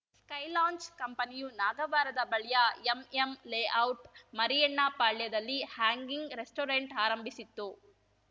sky launch ಕಂಪನಿಯು ನಾಗವಾರದ ಬಳಿಯ ಎಂಎಂ ಲೇಔಟ್‌ ಮರಿಯಣ್ಣಪಾಳ್ಯದಲ್ಲಿ ಹ್ಯಾಂಗಿಂಗ್‌ ರೆಸ್ಟೋರೆಂಟ್‌ ಆರಂಭಿಸಿತ್ತು